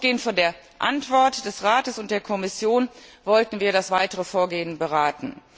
Ausgehend von der Antwort des Rates und der Kommission wollten wir das weitere Vorgehen beraten.